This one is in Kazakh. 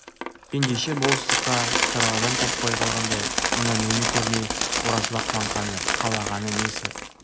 ендеше болыстыққа тұрар адам таппай қалғандай мына мені көрмей оразбақ маңқаны қалағаны несі